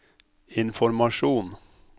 informasjon